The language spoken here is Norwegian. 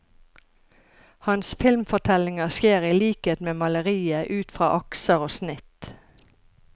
Hans filmfortellinger skjer i likhet med maleriet ut fra akser og snitt.